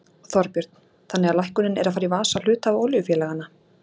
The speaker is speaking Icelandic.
Þorbjörn: Þannig að lækkunin er að fara í vasa hluthafa olíufélaganna?